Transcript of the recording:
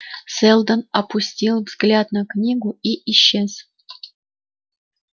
сэлдон опустил взгляд на книгу и исчез